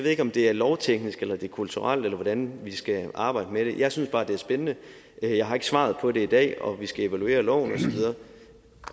ikke om det er lovteknisk eller det er kulturelt eller hvordan vi skal arbejde med det jeg synes bare det er spændende jeg har ikke svaret på det i dag og vi skal evaluere loven